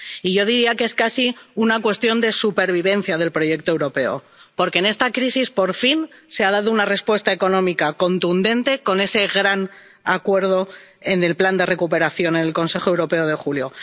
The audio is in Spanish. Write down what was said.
Y yo diría que es casi una cuestión de supervivencia del proyecto europeo, porque en esta crisis, por fin, se ha dado una respuesta económica contundente con ese gran acuerdo sobre el Plan de Recuperación en el Consejo Europeo de julio.